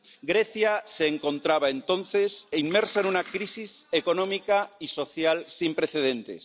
Grecia se encontraba entonces inmersa en una crisis económica y social sin precedentes.